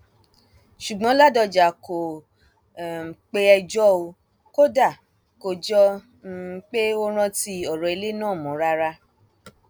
ṣùgbọn ládọjà kò um pé ẹjọ ò kódà kò jọ um pé ó rántí ọrọ ilé náà mọ rárá